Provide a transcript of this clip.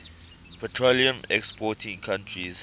petroleum exporting countries